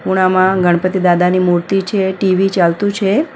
ખૂણામાં ગણપતિદાદાની મૂર્તિ છે અને ટી_વી ચાલતું છે.